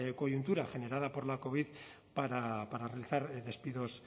coyuntura generada por la covid para realizar despidos